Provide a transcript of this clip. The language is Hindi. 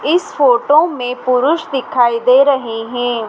इस फोटो में पुरुष दिखाई दे रहे हैं।